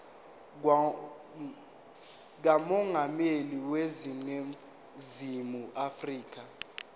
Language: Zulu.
kamongameli waseningizimu afrika